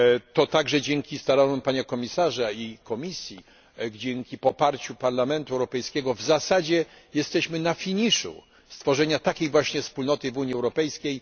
To także dzięki staraniom pana komisarza i Komisji, dzięki poparciu Parlamentu Europejskiego, w zasadzie jesteśmy na finiszu stworzenia takiej właśnie wspólnoty w Unii Europejskiej.